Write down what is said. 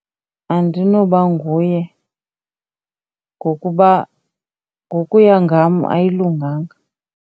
Andinoba nguye ngokuba ngokuya ngam ayilunganga.